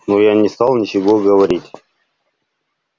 но я не стал ничего говорить